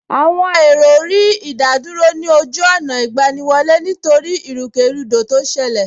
Àwọn èrò rí ìdádúró ní ojú ọ̀nà ìgbaniwọlé nítorí ìrúkèrúdò tó ṣẹlẹ̀